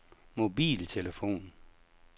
mobiltelefon